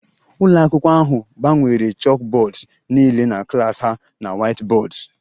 Ụlọ akwụkwọ ahụ gbanwere chalkboards niile na klas ha na whiteboards